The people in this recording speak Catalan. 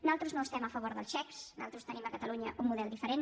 nosaltres no estem a favor dels xecs nosaltres tenim a catalunya un model diferent